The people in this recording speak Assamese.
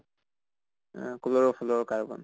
uh chloro fluoro carbon